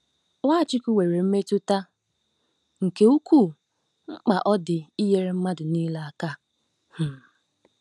Nwachukwu nwere mmetụta nke ukwuu mkpa ọ dị inyere mmadụ niile aka. um